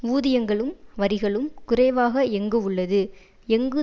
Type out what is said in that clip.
ஊதியங்களும் வரிகளும் குறைவாக எங்கு உள்ளது எங்கு